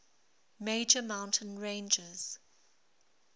major mountain ranges